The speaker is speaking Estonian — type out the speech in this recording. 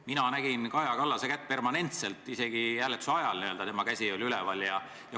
Mina nägin permanentselt Kaja Kallase kätt, isegi hääletuse ajal oli tema käsi üleval.